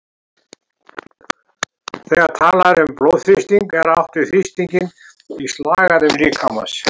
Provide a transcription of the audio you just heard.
Þegar talað er um blóðþrýsting er átt við þrýstinginn í slagæðum líkamans.